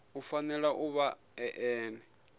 u fanela u vha ene